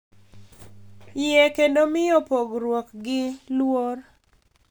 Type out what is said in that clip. Yie kendo miyo pogruokgi luor